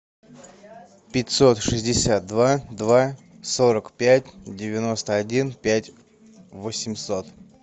пятьсот шестьдесят два два сорок пять девяносто один пять восемьсот